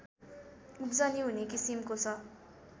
उब्जनी हुने किसिमको छ